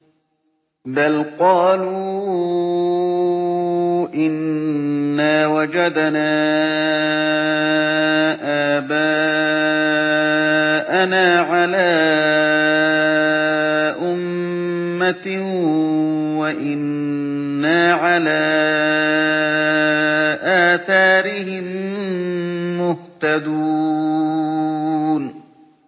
بَلْ قَالُوا إِنَّا وَجَدْنَا آبَاءَنَا عَلَىٰ أُمَّةٍ وَإِنَّا عَلَىٰ آثَارِهِم مُّهْتَدُونَ